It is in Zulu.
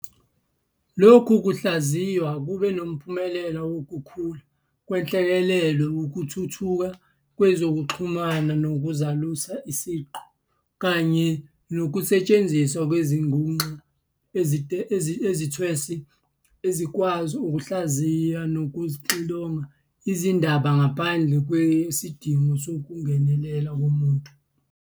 Lokhu kuhlayizwa kube nomphumela wukukhula kwenhleleleko, ukuthuthuka kwezokuxhumana nokuzalusa-siqu, kanye nokusetshenziswa kwezinguxa ezintwesi ezikwazi ukuhlaziya nokuxilonga izindaba ngaphandle kwesidingo sokungenela komuntu.